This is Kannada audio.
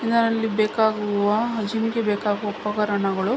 ಇದರಲ್ಲಿ ಬೇಕಾಗುವ ಬೇಕಾಗುವ ಉಪಕರಣಗಳು--